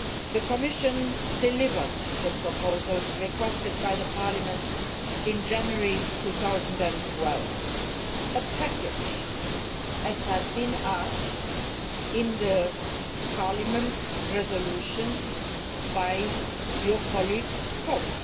The Commission delivered the proposals requested by Parliament in January2012 a package, as had been asked for in Parliament's resolution by your colleague, MrVoss.